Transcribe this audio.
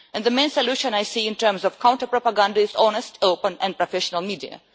And the main solution I see in terms of counter propaganda is an honest, open and professional media.